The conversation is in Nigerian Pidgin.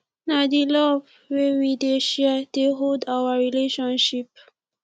na di love wey we dey share dey hold our relationship